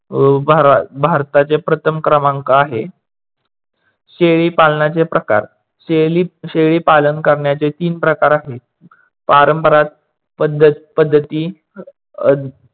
भारताचे प्रथम क्रमांक आहे. शेळी पालनाचे प्रकार शेळी पालन करण्याचे तीन प्रकार आहेत. पारंपारक पद्धती अह